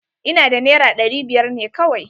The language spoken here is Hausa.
Ina da naira ɗari biyar ne kawai.